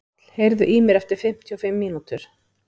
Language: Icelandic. Páll, heyrðu í mér eftir fimmtíu og fimm mínútur.